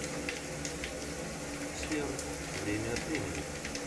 сбер время от времени